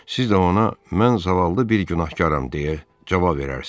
Siz də ona mən zavallı bir günahkaram deyə cavab verərsiniz.